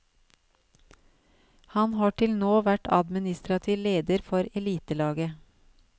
Han har til nå vært administrativ leder for elitelaget.